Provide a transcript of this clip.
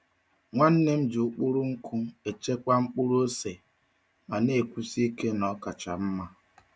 Nwanne m ji ụkpụrụ nkụ echekwa mkpụrụ ose ma na-ekwusi ike na ọ kacha mma.